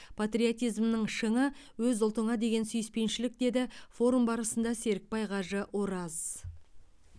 патриотизмнің шыңы өз ұлтыңа деген сүйіспеншілік деді форум барысында серікбай кажы ораз